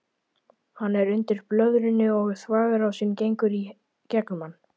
Hann er undir blöðrunni og þvagrásin gengur í gegnum hann.